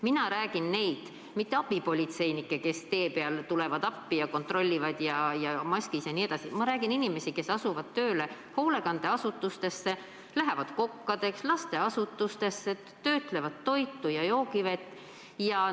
Ma ei räägi abipolitseinikest, kes tulevad tee peal appi ja kontrollivad ja on maskis, vaid ma räägin inimestest, kes asuvad tööle hoolekandeasutustes või lasteasutustes, lähevad kokkadeks, töötlevad toitu ja joogivett.